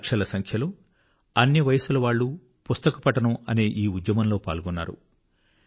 లక్షల సంఖ్యలో అన్ని వయస్సులవాళ్ళు పుస్తకపఠనం అనే ఈ ఉద్యమంలో పాల్గొన్నారు